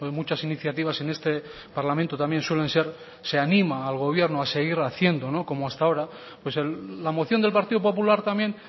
muchas iniciativas en este parlamento también suelen ser se anima al gobierno a seguir haciendo como hasta ahora pues la moción del partido popular también